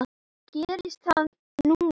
Gerist það núna?